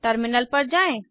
terminal पर जाएँ